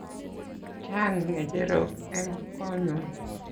Chang' ng'echerok eng' konyun